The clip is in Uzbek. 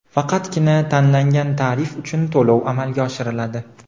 faqatgina tanlangan tarif uchun to‘lov amalga oshiriladi.